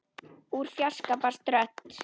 Úr fjarska barst rödd.